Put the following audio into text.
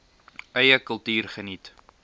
eie kultuur geniet